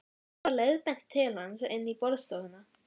Mér var leiðbeint til hans inn í borðstofuna.